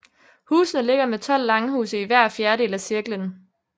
Husene ligger med tolv langhuse i hver fjerdedel af cirklen